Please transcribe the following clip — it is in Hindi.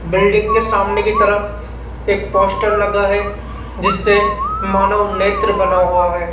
बिल्डिंग के सामने की तरफ एक पोस्टर लगा है जिसपे मानो नेत्र बना हुआ है।